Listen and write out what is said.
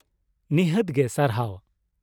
ᱱᱤᱷᱟᱹᱛ ᱜᱮ, ᱥᱟᱨᱦᱟᱣ ᱾